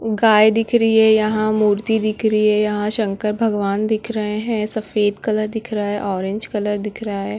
गाय दिख रही है यहाँ मूर्ति दिख रही है यहाँ शंकर भगवान दिख रहे हैं सफेद कलर दिख रहा है ऑरेंज कलर दिख रहा है।